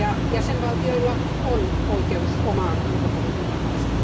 Jäsenvaltioilla on oikeus omaan ulkopolitiikkaansa.